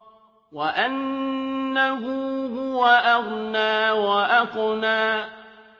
وَأَنَّهُ هُوَ أَغْنَىٰ وَأَقْنَىٰ